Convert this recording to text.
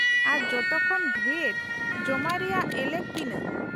-ᱟᱨ ᱡᱚᱛᱚ ᱠᱷᱚᱱ ᱰᱷᱮᱨ ᱡᱚᱢᱟᱭ ᱨᱮᱭᱟᱜ ᱮᱞᱮᱠ ᱛᱤᱱᱟᱹᱜ ?